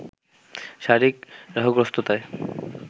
শারীরিক রাহুগ্রস্ততায়